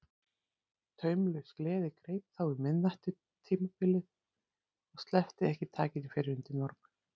Taumlaus gleði greip þá um miðnæturbilið og sleppti ekki takinu fyrr en undir morgun.